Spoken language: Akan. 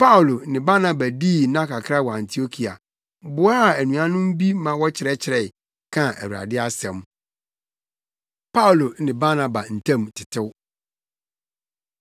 Paulo ne Barnaba dii nna kakra wɔ Antiokia, boaa anuanom bi ma wɔkyerɛkyerɛe, kaa Awurade asɛm. Paulo Ne Barnaba Ntam Tetew